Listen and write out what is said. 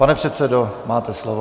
Pane předsedo, máte slovo.